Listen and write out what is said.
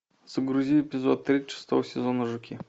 загрузи эпизод три шестого сезона жуки